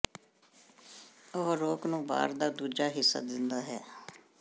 ਉਹ ਰੋਕ ਨੂੰ ਬਾਰ ਦਾ ਦੂਜਾ ਹਿੱਸਾ ਦਿੰਦਾ ਹੈ